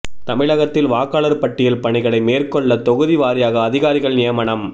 தமிழகத்தில் வாக்காளர் பட்டியல் பணிகளை மேற்கொள்ள தொகுதி வாரியாக அதிகாரிகள் நியமனம்